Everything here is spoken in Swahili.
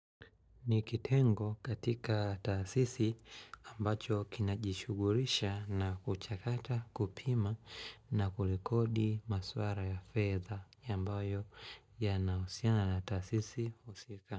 Ni kitengo katika taasisi ambacho kina jishugurisha na kuchakata kupima na kulekodi maswara ya fedha yambayo ya na usiana na taasisi usika.